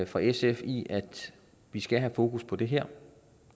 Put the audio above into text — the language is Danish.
fra sf i at vi skal have fokus på det her